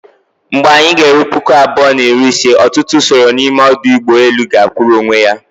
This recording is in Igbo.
Mgbe anyị g'eru puku abụọ na iri ise, ọtụtụ usoro n'ime ọdụ ụgbọ elu ga-akwụụrụ onwe ya